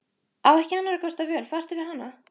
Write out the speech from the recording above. Á ekki annarra kosta völ, fastur við hana.